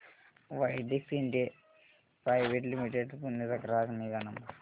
Widex India private limited Pune चा ग्राहक निगा नंबर